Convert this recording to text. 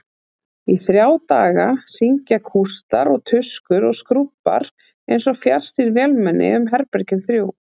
Í þrjá daga syngja kústar og tuskur og skrúbbar einsog fjarstýrð vélmenni um herbergin þrjú.